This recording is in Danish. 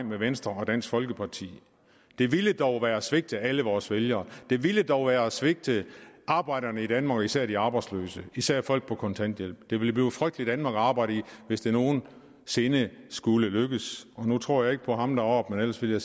med venstre og dansk folkeparti det ville dog være at svigte alle vores vælgere det ville dog være at svigte arbejderne i danmark især de arbejdsløse især folk på kontanthjælp det ville blive et frygteligt danmark at arbejde i hvis det nogen sinde skulle lykkes nu tror jeg ikke på ham deroppe ellers ville